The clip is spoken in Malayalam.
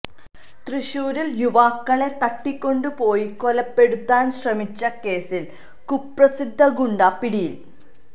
തൃശൂരിൽ യുവാക്കളെ തട്ടികൊണ്ട് പോയി കൊലപെടുത്താൻ ശ്രമിച്ച കേസിൽ കുപ്രസിദ്ധ ഗുണ്ട പിടിയിൽ